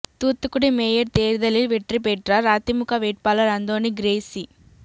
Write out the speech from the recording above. Thoothukudi mayor தேர்தலில் வெற்றி பெற்றார் அதிமுக வேட்பாளர் அந்தோணி கிரேஸி